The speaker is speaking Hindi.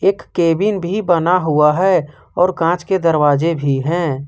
एक केबिन भी बना हुआ है और कांच के दरवाजे भी है।